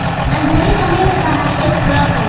अंधेरे कमरे के बाहर एक ट्रक है।